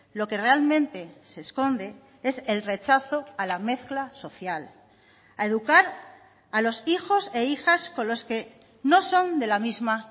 lo que realmente se esconde es el rechazo a la mezcla social a educar a los hijos e hijas con los que no son de la misma